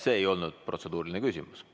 See ei olnud protseduuriline küsimus.